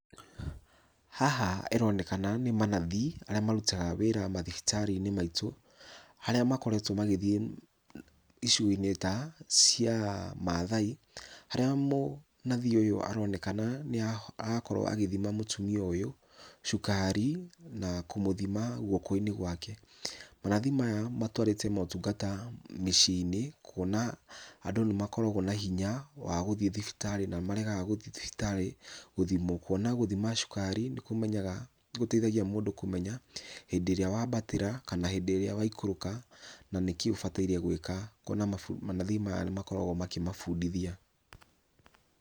Haha ĩronekana nĩ manathi arĩa marutaga mawĩra mathibitarĩ-inĩ maitũ, harĩa makoretwo magĩthiĩ icigo-inĩ ta, cia maathai harĩa mũnathi ũyũ nĩ aronekana arakorwo agĩthima mũtumia ũyũ cukari, na kũmũthima gwoko-inĩ gwake, manathi maya matwarĩte motungata maya mĩciĩ-inĩ kuona andũ nĩmakoragwo na hinya wa gũthiĩ thibitarĩ, na nĩ maregaga gũthiĩ thibitarĩ gũthimwo, kuona gũthimwo cukari nĩkũmenyaga, nĩkũteithagia mũndũ kũmenya hĩndĩ ĩrĩa wabatĩra, kana hĩndĩ ĩrĩa waikũrũka na nĩkĩĩ ũbataire gwĩka , kuona manathi maya nĩ makoragwo makĩ mabundithia.